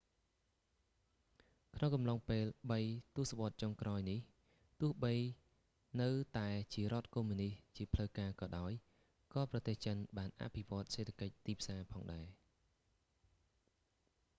ក្នុងកំឡុងពេលបីទសវត្សចុងក្រោយនេះ ទោះបីនៅតែជារដ្ឋកុម្មុយនិស្តជាផ្លូវការក៏ដោយ ក៏ប្រទេសចិនបានអភិវឌ្ឍសេដ្ឋកិច្ចទីផ្សារផងដែរ